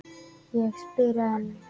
Ég spyr enn.